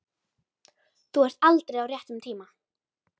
Þú ert aldrei á réttum tíma.